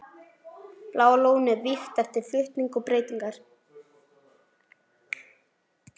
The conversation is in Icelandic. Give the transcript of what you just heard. Bláa lónið vígt eftir flutning og breytingar.